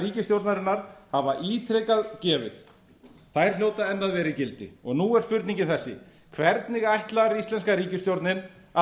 ríkisstjórnarinnar hafa ítrekað gefið hljóta enn að vera í gildi og nú er spurningin þessi hvernig ætlar íslenska ríkisstjórnin að